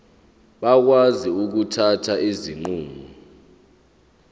bakwazi ukuthatha izinqumo